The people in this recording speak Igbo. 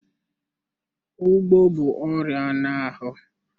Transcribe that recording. Ugbo bụ ọrịa anụ ahụ.